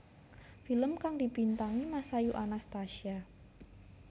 Film kang dibintangi Masayu Anastasia